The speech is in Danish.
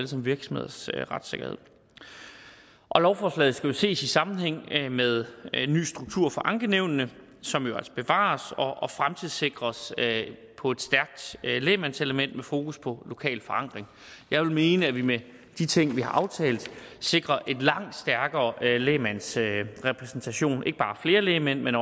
som virksomheders retssikkerhed lovforslaget skal ses i sammenhæng med en ny struktur for ankenævnene som jo altså bevares og fremtidssikres på et stærkt lægmandselement med fokus på lokal forankring jeg vil mene at vi med de ting vi har aftalt sikrer en stærkere lægmandsrepræsentation end tidligere ikke bare flere lægmænd men